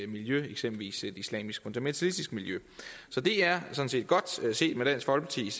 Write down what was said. miljø eksempelvis et islamisk fundamentalistisk miljø så det er sådan set godt set set med dansk folkepartis